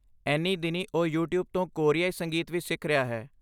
ਇਨ੍ਹੀਂ ਦਿਨੀਂ ਉਹ YouTube ਤੋਂ ਕੋਰੀਆਈ ਸੰਗੀਤ ਵੀ ਸਿੱਖ ਰਿਹਾ ਹੈ